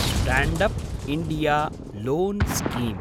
stand-up India loan scheme